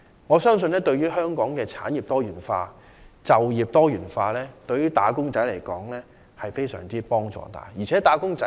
我相信，對於香港的產業及就業多元化，以及對於"打工仔"而言，均會帶來很大幫助。